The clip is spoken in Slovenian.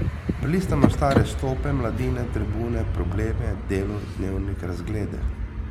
Prelistajmo stare Stope, Mladine, Tribune, Probleme, Delo, Dnevnik, Razglede.